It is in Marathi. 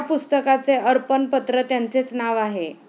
या पुस्तकाचे अर्पण पत्र त्यांचेच नाव आहे